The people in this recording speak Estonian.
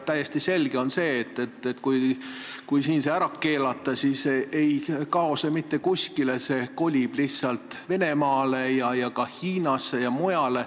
Täiesti selge on, et kui see siin ära keelata, siis ei kao see mitte kuskile, see kolib lihtsalt Venemaale, Hiinasse ja mujale.